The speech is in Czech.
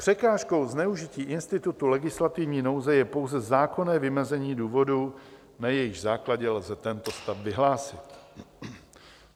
Překážkou zneužití institutu legislativní nouze je pouze zákonné vymezení důvodů, na jejichž základě lze tento stav vyhlásit.